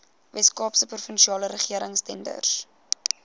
weskaapse provinsiale regeringstenders